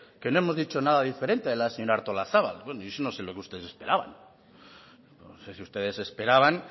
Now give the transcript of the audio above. que no hemos dicho nada diferente a la señora artolazabal bueno yo no sé lo que ustedes esperaban no sé si ustedes esperaban